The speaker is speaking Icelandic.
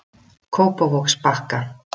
Kópavogsbakka